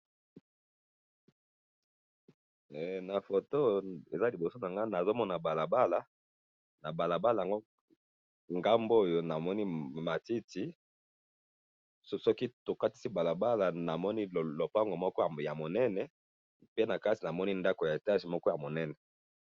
Eh na photo eza liboso na nga nazo mona balabala na Balabala ango ngambo oyo namoni matiti soki tokatisi balabala namoni lopango moko ya monene pe na kati namoni ndako ya etage moko ya munene